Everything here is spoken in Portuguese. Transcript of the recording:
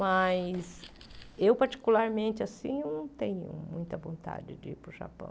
Mas eu, particularmente, não tenho muita vontade de ir para o Japão.